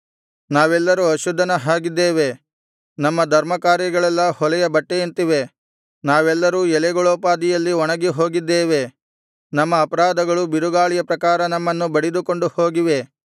ನಾವೆಲ್ಲರು ಅಶುದ್ಧನ ಹಾಗಿದ್ದೇವೆ ನಮ್ಮ ಧರ್ಮಕಾರ್ಯಗಳೆಲ್ಲಾ ಹೊಲೆಯ ಬಟ್ಟೆಯಂತಿವೆ ನಾವೆಲ್ಲರೂ ಎಲೆಗಳೋಪಾದಿಯಲ್ಲಿ ಒಣಗಿಹೋಗಿದ್ದೇವೆ ನಮ್ಮ ಅಪರಾಧಗಳು ಬಿರುಗಾಳಿಯ ಪ್ರಕಾರ ನಮ್ಮನ್ನು ಬಡಿದುಕೊಂಡು ಹೋಗಿವೆ